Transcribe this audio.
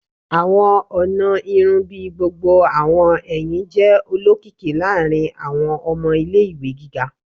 Awọn ọna irun bii gbogbo awọn ẹhin jẹ olokiki laarin awọn ọmọ ile-iwe giga